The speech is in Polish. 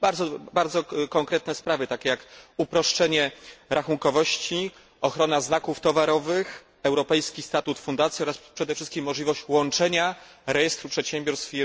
Dotyczy to bardzo konkretnych kroków, takich jak uproszczenie rachunkowości, ochrona znaków towarowych, europejski statut fundacji oraz przede wszystkim możliwość łączenia rejestru przedsiębiorstw.